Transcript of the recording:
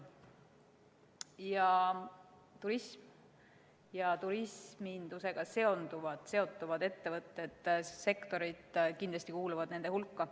Turism ja turismindusega seotud ettevõtted ja sektorid kuuluvad kindlasti nende hulka.